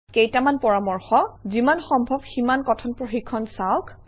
কেইটামান পৰামৰ্শ যিমান সম্ভৱ সিমান কথন প্ৰশিক্ষণ চাওক